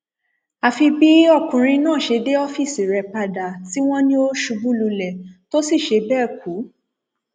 àfi bí ọkùnrin náà ṣe dé ọfíìsì rẹ padà tí wọn ní ó ṣubú lulẹ tó sì ṣe bẹẹ kú